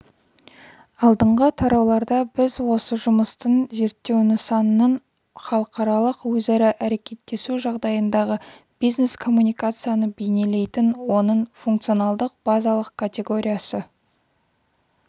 алдыңғы тарауларда біз осы жұмыстың зерттеу нысанының халықаралық өзара әрекеттесу жағдайындағы бизнес-коммуникацияны бейнелейтін оның функционалдық-базалық категориясы